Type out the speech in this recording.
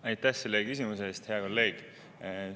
Aitäh selle küsimuse eest, hea kolleeg!